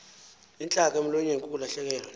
intlaka emlonyeni kukulahlekwa